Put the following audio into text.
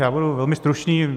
Já budu velmi stručný.